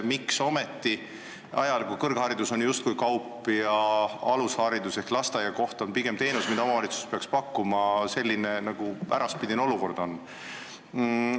Miks ometi ajal, kui kõrgharidus on justkui kaup ja alusharidus ehk lasteaiakoht pigem teenus, mida omavalitsus peaks pakkuma, on meil selline äraspidine süsteem?